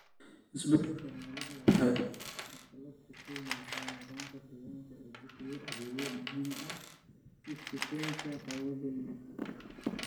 Isbeddelka cimiladu waxay carqalad ku keenaysaa nidaamka deegaanka ee bixiya adeegyada muhiimka ah, sida sifaynta hawada iyo biyaha.